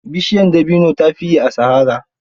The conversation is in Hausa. Bishiyar dabino ta fi yi a sahara.